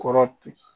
Kɔrɔ ten